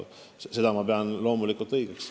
Loomulikult pean ma seda õigeks.